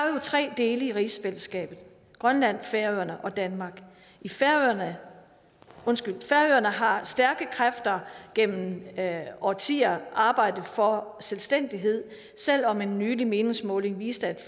jo tre dele i rigsfællesskabet grønland færøerne og danmark i færøerne har stærke kræfter gennem årtier arbejdet for selvstændighed selv om en nylig meningsmåling viste